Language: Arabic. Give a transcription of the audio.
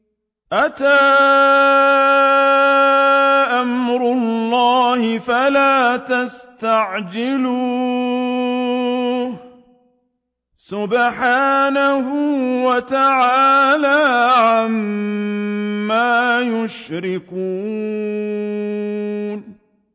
أَتَىٰ أَمْرُ اللَّهِ فَلَا تَسْتَعْجِلُوهُ ۚ سُبْحَانَهُ وَتَعَالَىٰ عَمَّا يُشْرِكُونَ